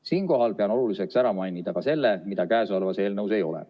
Siinkohal pean oluliseks ära mainida ka selle, mida käesolevas eelnõus ei ole.